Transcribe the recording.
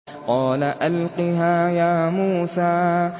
قَالَ أَلْقِهَا يَا مُوسَىٰ